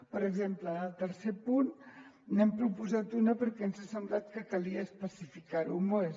per exemple en el tercer punt n’hem proposat una perquè ens ha semblat que calia especificar ho més